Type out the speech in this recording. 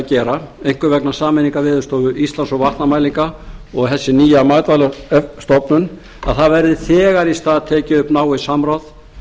gera einkum vegna sameiningar veðurstofu íslands og vatnamælinga og þessi nýja matvælastofnun að það verði þegar í stað tekið upp náið samráð